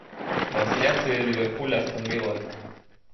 трансляция ливерпуль астон вилла